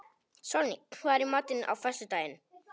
Sólný, hvað er í matinn á föstudaginn?